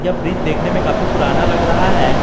यह ब्रिज देखने में कफी पुराना लग रहा है।